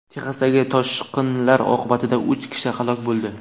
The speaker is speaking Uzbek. Texasdagi toshqinlar oqibatida uch kishi halok bo‘ldi.